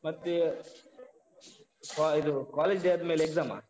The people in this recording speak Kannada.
ಮತ್ತೆ ಸ ಇದು college day ಆದ್ಮೇಲೆ exam ಆ?